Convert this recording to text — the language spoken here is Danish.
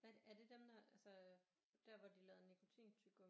Hvad er det dem der altså der hvor de lavede nikotintyggegummi